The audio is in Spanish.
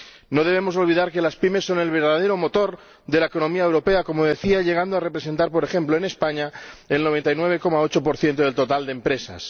No debemos olvidar que las pymes son el verdadero motor de la economía europea, como decía, y llegan a representar, por ejemplo, en España, el 99,8 del total de empresas.